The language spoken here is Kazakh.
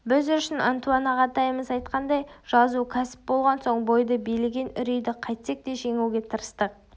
біз үшін антуан ағатайымыз айтқандай жазу кәсіп болған соң бойды билеген үрейді қайтсек те жеңуге тырыстық